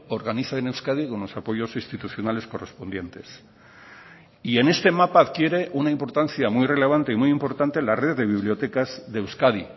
organiza en euskadi con los apoyos institucionales correspondientes y en este mapa adquiere una importancia muy relevante y muy importante la red de bibliotecas de euskadi